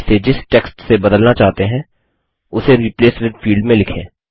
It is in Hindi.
आप इसे जिस टेक्स्ट से बदलना चाहते हैं उसे रिप्लेस विथ फील्ड में लिखें